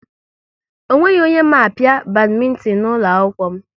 Ọ nweghị onye ma apia badmintin n'ụlọ akwụkwọ m